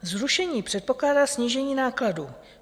Zrušení předpokládá snížení nákladů.